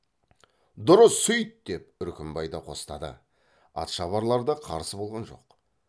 дұрыс сүйт деп үркімбай да қостады атшабарлар да қарсы болған жоқ